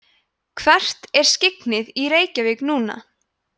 hvert er skyggnið í reykjavík núna